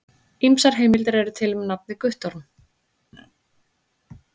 Ýmsar heimildir eru til um nafnið Guttorm.